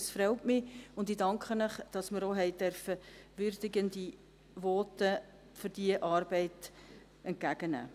Es freut mich und ich danke Ihnen, dass wir für diese Arbeit auch würdigende Voten entgegennehmen durften.